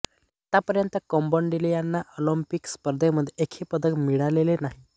आत्तापर्यंत कंबोडियाला ऑलिंपिक स्पर्धांमध्ये एकही पदक मिळवलेले नाही